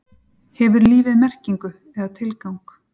hefur lífið merkingu eða tilgang